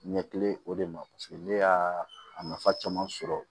Ɲɛkili o de ma ne y'a a nafa caman sɔrɔ